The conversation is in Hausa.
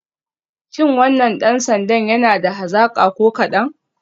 Shi wannan dan sandan yana da hazaka ko kadan?